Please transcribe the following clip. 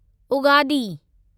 Ugadi